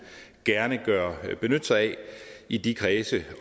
gerne vil benytte sig af i de kredse